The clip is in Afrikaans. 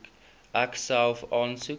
ek self aansoek